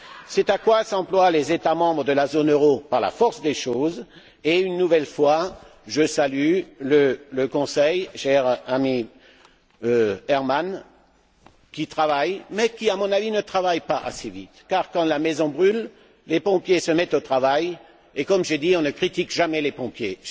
C'est ce à quoi s'emploient les États membres de la zone euro par la force des choses et, une nouvelle fois, je salue le Conseil, cher ami Herman Van Rompuy, qui travaille mais qui, à mon avis, ne travaille pas assez vite car quand la maison brûle, les pompiers se mettent au travail et comme je dis on ne critique jamais les pompiers.